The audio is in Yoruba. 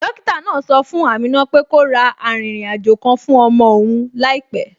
Dókítà náà sọ fún Amina pé kó ra arìnrìn àjò kan fún ọmọ òun láìpẹ